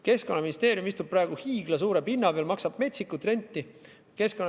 Keskkonnaministeerium istub praegu hiiglasuure pinna peal, maksab metsikut renti.